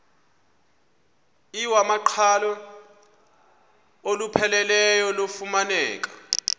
iwamaqhalo olupheleleyo lufumaneka